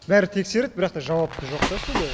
бәрі тексереді бірақ та жауапты жоқ та сол бойы